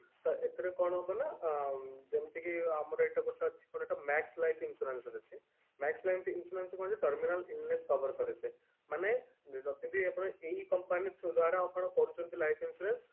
ତ ଏଥିରେ କଣ ହେବ ନା ଯେମିତିକି ଆମର ଏଟା ଗୋଟେ ଅଛି ଆମର ଏଟା max life insurance ଅଛି max life insurance କଣ ଯେ terminal illness cover କରେ ସେ ମାନେ ଯଦି ବି ଆମର ଏଇ company ଦ୍ଵାରା ଆପଣ କରୁଛନ୍ତି life insurance